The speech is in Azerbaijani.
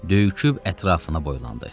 Döyüküb ətrafına boylandı.